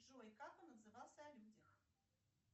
джой как он отзывался о людях